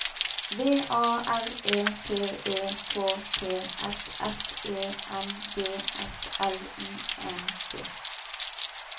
V A R E T E K T S F E N G S L I N G